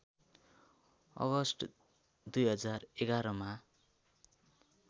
August २०११ मा